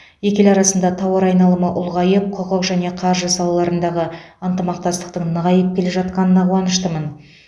екі ел арасында тауар айналымы ұлғайып құқық және қаржы салаларындағы ынтымақтастықтың нығайып келе жатқанына қуаныштымын